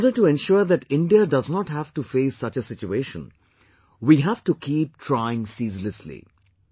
In order to ensure that India does not have to face such a situation, we have to keep trying ceaselessly